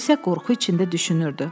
O isə qorxu içində düşünürdü.